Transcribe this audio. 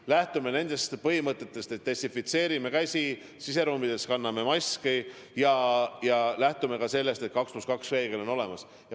Ja lähtume nendest põhimõtetest: desinfitseerime käsi, siseruumides kanname maski ja lähtume sellest, et 2 + 2 reegel on olemas.